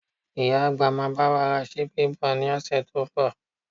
Ìyá àgbà máa bá wa ra ṣíbí bọ̀ ní ọ̀sẹ̀ tó ń bọ̀